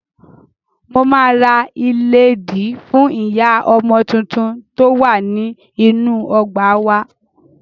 Mo máa ra ìlédìí fú ìyá ọmọ tuntun tó wà ní inú ọgbà wá.